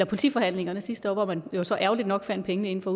politiforhandlingerne sidste år hvor man jo så ærgerligt nok fandt pengene inden for